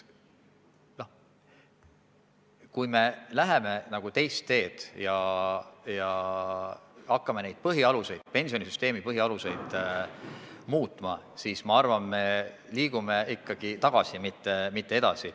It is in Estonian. Kui me läheme teist teed ja hakkame pensionisüsteemi põhialuseid muutma, siis me liigume tagasi, mitte edasi.